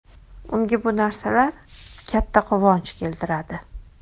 Unga bu narsalar katta quvonch keltiradi.